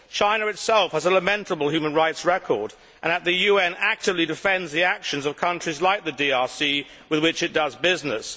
China itself has a lamentable human rights record and, at the UN, actually defends the actions of countries like the DRC with which it does business.